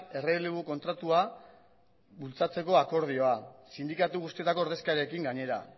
errelebu kontratua bultzatzeko akordioa sindikatu guztietako ordezkariekin gainera